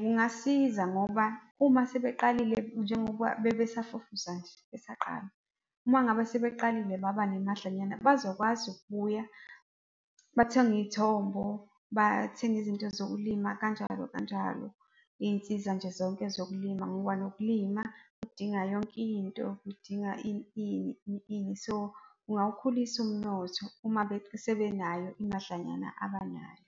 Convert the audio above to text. Kungasiza ngoba uma sebeqalile, njengoba bebesafufusa nje, besaqala. Uma ngabe sebeqalile baba nemadlanyana bazokwazi ukubuya, bathenge izithombo, bathenge izinto zokulima kanjalo, kanjalo. Iy'nsiza nje zonke zokulima ngoba nokulima kudinga yonke into, kudinga ini ini, ini ini. So, kungawukhulisa umnotho uma-ke sebenayo imadlanyana abanayo.